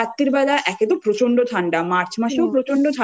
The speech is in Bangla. বাইরে মানে ধর রাত্তিরবেলা একে তো প্রচণ্ড ঠাণ্ডা মার্চ